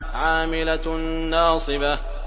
عَامِلَةٌ نَّاصِبَةٌ